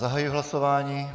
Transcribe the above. Zahajuji hlasování.